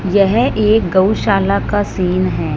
यह एक गौशाला का सीन है।